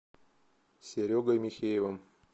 серегой михеевым